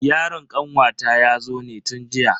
Yaron kanwata yazo ne tun jiya.